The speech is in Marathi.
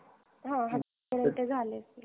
हा हजार पर्यन्त झाले असतील